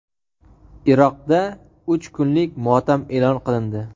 Iroqda uch kunlik motam e’lon qilindi.